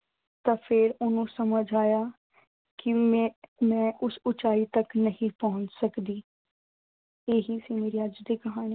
ਤਾਂ ਉਸਨੂੰ ਸਮਝ ਆਇਆ ਕਿ ਮੈਂ ਉਸ ਉਚਾਈ ਤੱਕ ਨਹੀਂ ਪਹੁੰਚ ਸਕਦੀ। ਇਹੀ ਸੀ ਮੇਰੀ ਅੱਜ ਦੀ ਕਹਾਣੀ।